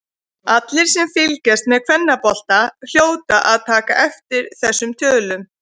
Allir sem fylgjast með kvennabolta hljóta að taka eftir þessum tölum.